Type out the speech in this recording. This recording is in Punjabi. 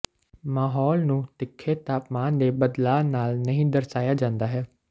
ਮਾਹੌਲ ਨੂੰ ਤਿੱਖੇ ਤਾਪਮਾਨ ਦੇ ਬਦਲਾਅ ਨਾਲ ਨਹੀਂ ਦਰਸਾਇਆ ਜਾਂਦਾ ਹੈ